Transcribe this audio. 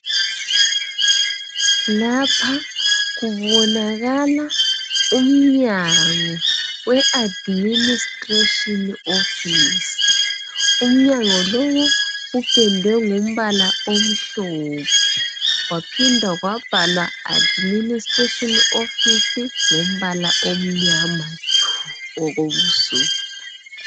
Lapha kubonakala umnyango we administration office. Umnyango lo upendwe ngombala omhlophe kwaphinde kwabhalwa administration office ngombala omnyama tshu okobusuku